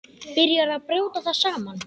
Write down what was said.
Byrjar að brjóta það saman.